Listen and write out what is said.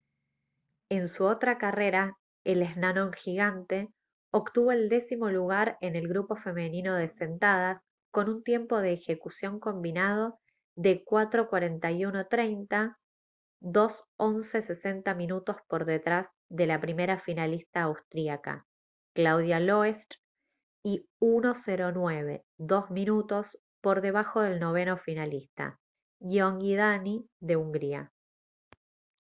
en su otra carrera el eslalon gigante obtuvo el décimo lugar en el grupo femenino de sentadas con un tiempo de ejecución combinado de 4:41.30 2:11.60 minutos por detrás de la primera finalista austríaca claudia loesch y 1:09.02 minutos por debajo del noveno finalista gyöngyi dani de hungría